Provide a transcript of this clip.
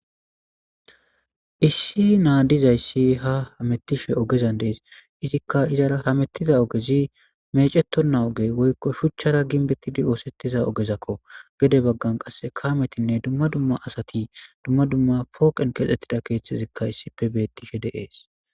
Issi naa dizayssi ha hamettishe oogeza dees izikka izara hamettiza oogezi mecetonna ooge woykko shuuchchara ginbettidi oosettiza oogezakko gedde baggan qase kaametinne dumma dumma asati dumma dumma pooqen keexxettida keeththezikka issipe bettishe de'es